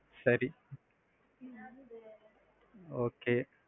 சரி okay.